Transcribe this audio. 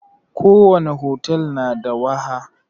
ko wani hotel na da waha.